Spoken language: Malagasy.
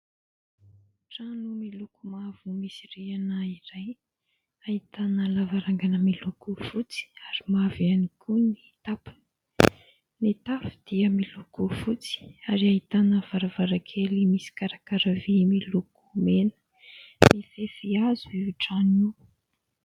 Trano miloko mavo misy rihana iray ahitana lavarangana miloko fotsy ary mavo ihany koa ny tampony, ny tafo dia miloko fotsy ary ahitana varavaran-kely misy karakara vy miloko mena, mifefy hazo io trano io.